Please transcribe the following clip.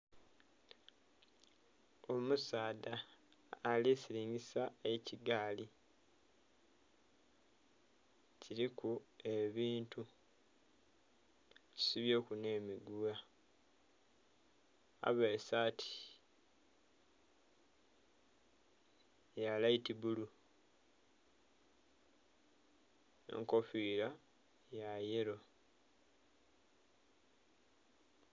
Omusaadha ali silingisa ekigaali kiliku ebintu akisibyeku nhe migugha avaire saati ya laiti bbulu nhe enkofira ya yello.